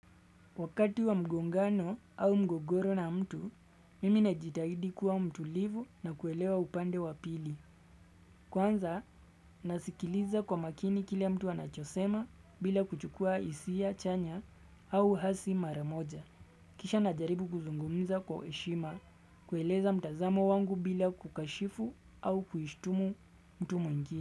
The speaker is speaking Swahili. Wakati wa mgongano au mgogoro na mtu, mimi najitahidi kuwa mtulivu na kuelewa upande wa pili. Kwanza, nasikiliza kwa makini kile mtu anachosema bila kuchukua hisia, chanya au hasi mara moja. Kisha najaribu kuzungumza kwa heshima, kueleza mtazamo wangu bila kukashifu au kuishtumu mtu mwingi.